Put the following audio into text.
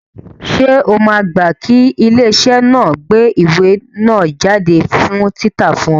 Ṣé o máa gbá kí ilé iṣẹ́ náà ó gbé ìwé náà jáde fún títa fún ẹ?